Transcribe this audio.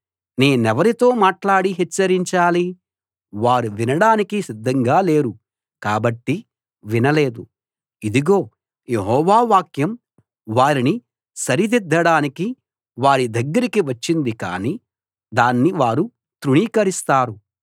నేనెవరితో మాట్లాడి హెచ్చరించాలి వారు వినడానికి సిద్ధంగా లేరు కాబట్టి వినలేదు ఇదిగో యెహోవా వాక్యం వారిని సరిదిద్దడానికి వారి దగ్గరికి వచ్చింది కానీ దాన్ని వారు తృణీకరిస్తారు